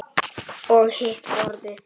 Og hitt borðið?